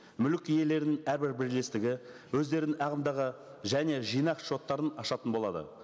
мүлік иелерінің әрбір бірлестігі өздерінің ағымдағы және жинақ шоттарын ашатын болады